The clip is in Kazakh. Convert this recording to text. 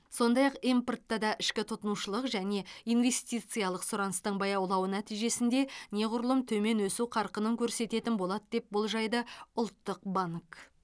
сондай ақ импорт та ішкі тұтынушылық және инвестициялық сұраныстың баяулауы нәтижесінде неғұрлым төмен өсу қарқынын көрсететін болады деп болжайды ұлттық банк